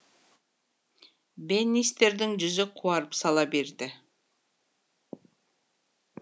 бэннистердің жүзі қуарып сала берді